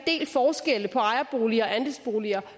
del forskelle på ejerboliger og andelsboliger